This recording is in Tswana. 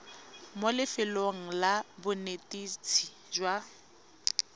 mo lefelong la bonetetshi jwa